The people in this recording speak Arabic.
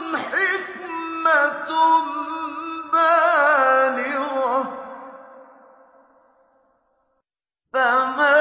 حِكْمَةٌ بَالِغَةٌ ۖ فَمَا